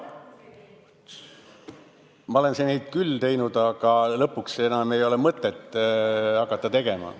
Ma olen neid küll teinud, aga lõpuks enam ei ole mõtet teha.